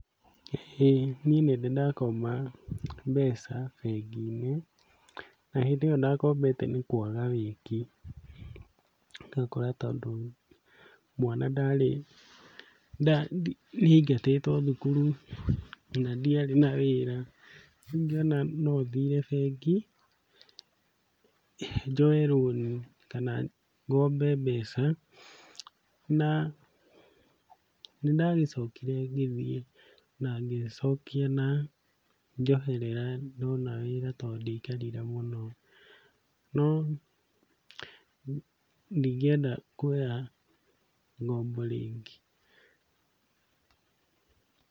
Ĩĩ niĩ nĩndĩ ndakomba mbeca bengi-inĩ na hĩndĩ ĩyo ndakombete nĩ kwaga wĩki, ũgakora tondũ mwana ndarĩ nĩaigatĩtwo thukuru na ndiarĩ na wĩra, rĩu ngĩona no thiire bengi, njoe rũni kana ngombe mbeca, na nĩndacokire ngĩthiĩ na ngĩcokia na njoherera ndona wĩra tondũ ndiaikarire mũno, no ndingĩenda kuoya ngombo rĩngĩ.